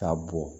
K'a bɔ